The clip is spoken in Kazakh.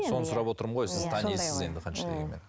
соны сұрап отырмын ғой сіз танисыз енді қанша дегенмен